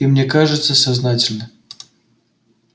и мне кажется сознательно